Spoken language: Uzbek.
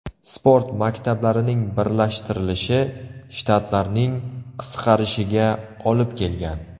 Sport maktablarining birlashtirilishi shtatlarning qisqarishiga olib kelgan.